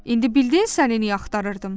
İndi bildin səni niyə axtarırdım?